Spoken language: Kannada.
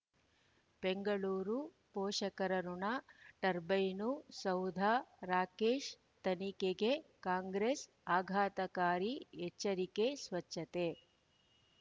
ಬೆಂಗಳೂರು ಪೋಷಕರಋಣ ಟರ್ಬೈನು ಸೌಧ ರಾಕೇಶ್ ತನಿಖೆಗೆ ಕಾಂಗ್ರೆಸ್ ಆಘಾತಕಾರಿ ಎಚ್ಚರಿಕೆ ಸ್ವಚ್ಛತೆ